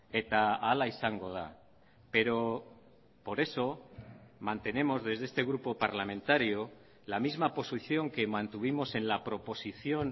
eta hala izango da pero por eso mantenemos desde este grupo parlamentario la misma posición que mantuvimos en la proposición